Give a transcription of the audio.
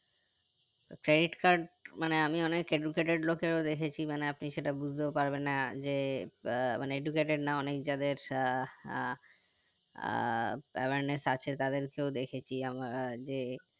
তো credit card মানে আমি অনেক educated লোকের ও দেখেছি মানে আপনি সেটা বুঝতেও পারবেন না যে আহ মানে educated না অনেক যাদের আহ আহ আহ awareness আছে তাদেরকেও দেখিছি আমরা যে